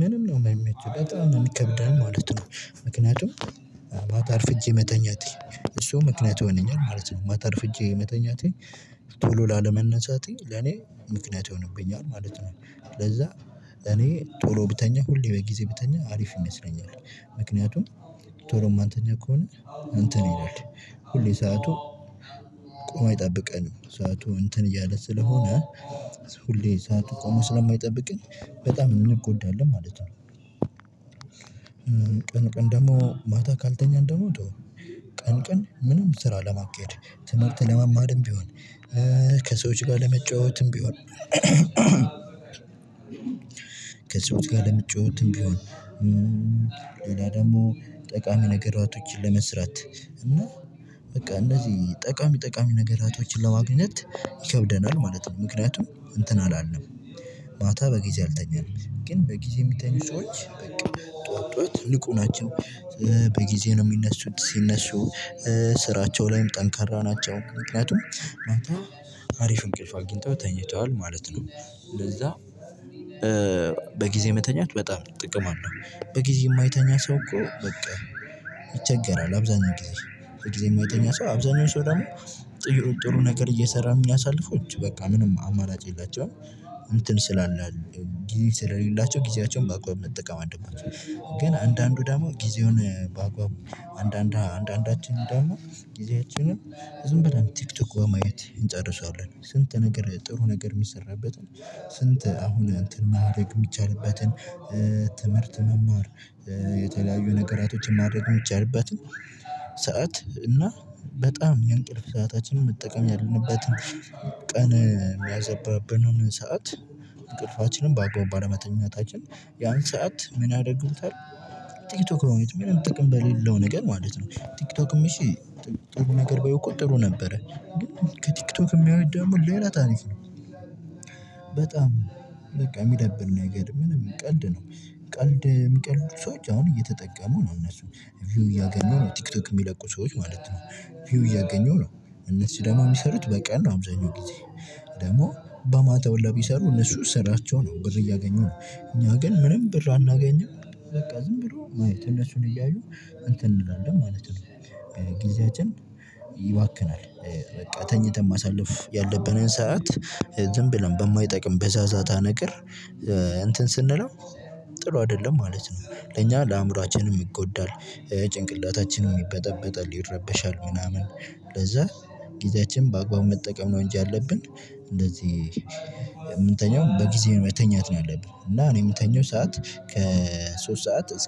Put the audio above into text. ምንም ነው የማይመቸው በጣም ነው ይከብዳል ማለት ነው። ምክንያቱም ማታ አርፍጄ መተኛቴ እሱ ምክንያት ይሆነኛል ማለት ነው ማታ አርፍጄ መተኛቴ መተኛቴን ቶሎ ላለመነሳቴ ለኔ ምክንያት ይሆንብኛል ማለት ነው። ለዛ እኔ ቶሎ ብተኛ ሁሌ በጊዜ ብተኛ አሪፍ ይመስለኛል። ምክንያቱም ቶሎ ማንተኛ ከሆነ እንትን ይሆናል ሁሌ ሰዓቱ ቆሞ አይጠብቀንም ሰዓቱ እንትን እያለ ስለሆነ ሁሌ ቆሞ ስለማይጠብቀን በጣም እንጎዳለን ማለት ነው። ቀን ቀን ደግሞ ማታ ካልተኛን ተወው ቀን ቀን ምንም ስራ ለማካሄድ ትምህርት ለማማርም ቢሆን ከሰዎች ጋር ለመጫወትም ቢሆን ከሰዎች ጋር ለምትጫወትም ቢሆን ሌላ ደግሞ ጠቃሚ ነገሮችን ለመስራት እና በቃ እነዚህ ጠቃሚ ጠቃሚ ነገሮችን ለማግኘት ይከብደናል ማለት ነው ምክንያቱም እንትን አላለም ማታ በጊዜ አልተኛንም ግን በጊዜ የሚተኙ ሰዎች በቃ ጠዋት ጠዋት ንቁ ናቸው። በጊዜ ነው የሚነሱት ሲነሱ ስራቸው ላይም ጠንካራ ናቸው ምክንያቱም ማታ አሪፍ እንቅልፍ አግኝተው ተኝተዋል ማለት ነው። ለዛ በጊዜ መተኛት በጣም ጥቅም አለው። በጊዜ የማይተኛ ሰው እኮ በቃ ይቸገራል። አብዛኛው ጊዜ በጊዜ የማይተኛ ሰው አብዛኛው ሰው ደግሞ ጥሩ ነገር እየሰራ የሚያሳልፈው በቃ ምንም አማራጭ የላቸውም እንትን ስላለ ጊዜ ስለሌላቸው ጊዜያቸውን በአግባቡ መጠቀም አለባቸው። ግን አንዳንዱ ደግሞ ጊዜውን በአግባቡ አንዳንድ አንዳንዳችን ደግሞ ጊዜያችንን ዝም ብለን ቲክቶክ በማየት እንጨርሰዋለን ስንት ነገር ጥሩ ነገር የሚሰራበትን ስንት አሁን እንትን ማድረግ የሚቻልበትን ትምህርት መማር የተለያዩ ነገሮችን ማድረግ የሚቻልበትን ሰዓት እና በጣም የእንቅልፍ ሰአታችንን መጠቀም ያለበትን ቀን የሚያዘባብንን ሰዓት እንቅልፋችንን በአግባቡ ባለመተኛታችን ያን ሰዓት ምን ያደርጉታል? ቲክቶክ በማየት ምንም ጥቅም በሌለው ነገር ማለት ነው። ቲክቶክም እሺ ጥሩ ነገር ቢያዩ እኮ ጥሩ ነበረ ግን ከቲክቶክ የሚያዩት ደግሞ ሌላ ታሪክ ነው። በጣም በቃ የሚደብር ነገር ምንም ቀልድ ነው። ቀልድ የሚቀልዱ ሰዎች አሁን እየተጠቀሙ ነው እነሱን ቪው እያገኙ ነው ቲክቶክ የሚለቁ ሰዎች ማለት ነው። ቪው እያገኙ ነው። እነሱ ደግሞ የሚሰሩት በቀን ነው አብዛኛው ጊዜ ደግሞ በማታ ሁላ ቢሰሩ እነሱ ስራቸው ነው ብር እያገኙ ነው። እኛ ግን ምንም ብር አናገኝም። በቃ ዝም ብሎ ማየት እነሱን እያዩ እንትን እንላለን ማለት ነው። ጊዜያችን ይባክናል። በቃ ተኝተን ማሳለፍ ያለብንን ሰዓት ዝም ብለን በማይጠቅም በዛዛታ ነገር እንትን ስንለው ጥሩ አይደለም ማለት ነው። ለኛ ለአእምሮአችንም ይጎዳል። ጭንቅላታችንም ይበጠበጣል ይረበሻል ምናምን ለዛ ጊዜያችንን በአግባቡ መጠቀም ነው እንጂ ያለብን። እንደዚህ የምንተኛውን በጊዜ መተኛት ነው ያለብን እና እኔ የምተኛው ሰዓት ከሶስት ሰዓት